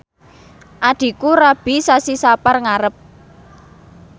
adhiku rabi sasi Sapar ngarep